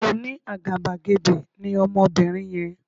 Oní àgàbàgebè ní Ọmọbinrin yen